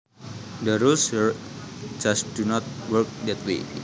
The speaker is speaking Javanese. The rules here just do not work that way